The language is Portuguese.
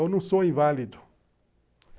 Eu não sou inválido.